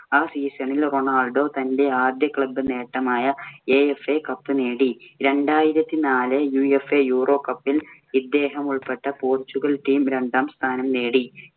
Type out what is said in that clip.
ആ season ഇൽ Ronaldo തന്‍റെ ആദ്യ club നേട്ടമായ AFAcup നേടി. രണ്ടായിരത്തി നാലില്‍ UFAeuro cup ഇല്‍ ഇദ്ദേഹമുൾപ്പെട്ട പോർച്ചുഗൽ team രണ്ടാം സ്ഥാനം നേടി.